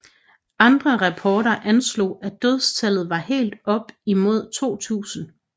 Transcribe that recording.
Andre rapporter anslog at dødstallet var helt op imod 2000